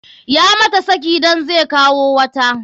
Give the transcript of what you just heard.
Ya mata saki dan zai kawo wata.